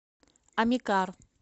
амикар